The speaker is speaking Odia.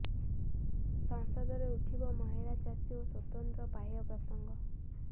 ସଂସଦରେ ଉଠିବ ମହିଳା ଚାଷୀ ଓ ସ୍ୱତନ୍ତ୍ର ପାହ୍ୟା ପ୍ରସଙ୍ଗ